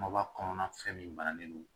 Maba kɔnɔna fɛn min bannen don